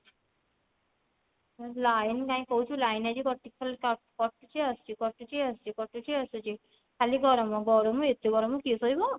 line କାଇଁ କହୁଛୁ line ଆଜି କଟୁଛି ଖାଲି କଟୁଛି ଆସୁଛି କଟୁଛି ଆସୁଛି କଟୁଛି ଆସୁଛି ଖାଲି ଗରମ ଗରମ ଏତେ ଗରମ କିଏ ସହିବ